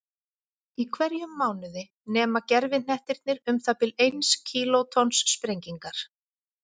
Í hverjum mánuði nema gervihnettirnir um það bil eins kílótonns sprengingar.